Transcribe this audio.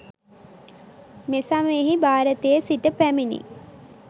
මෙසමයෙහි භාරතයේ සිට පැමිණි